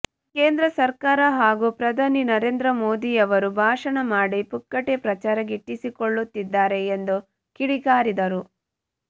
ಕೇಂದ್ರ ಸರ್ಕಾರ ಹಾಗೂ ಪ್ರಧಾನಿ ನರೇಂದ್ರ ಮೋದಿಯವರು ಭಾಷಣ ಮಾಡಿ ಪುಕ್ಕಟೆ ಪ್ರಚಾರ ಗಿಟ್ಟಿಸಿಕೊಳ್ಳುತ್ತಿದ್ದಾರೆ ಎಂದು ಕಿಡಿಕಾರಿದರು